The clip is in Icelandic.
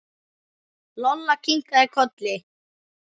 Lolla kinkaði kolli.